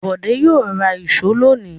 Bọ̀dé yóò ra ìṣó lónìí.